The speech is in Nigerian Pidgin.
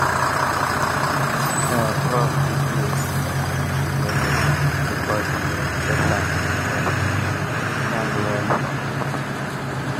our crop this year plenty well well because we respect land well land well from the beginning.